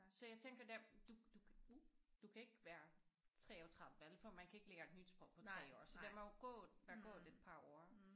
Så jeg tænker der du du kan du ikke være 33 vel for man kan ikke lære nyt sprog på 3 år så der må gået være gået et par år